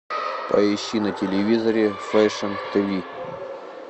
поищи на телевизоре фэшн тиви